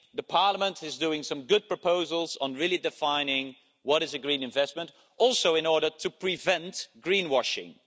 Parliament is making some good proposals on really defining what a green investment is in order to prevent greenwashing.